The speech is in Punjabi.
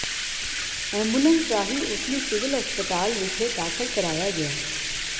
ਐਂਬੂਲੈਂਸ ਰਾਹੀਂ ਉਸਨੂੰ ਸਿਵਲ ਹਸਪਤਾਲ ਵਿਖੇ ਦਾਖਲ ਕਰਵਾਇਆ ਗਿਆ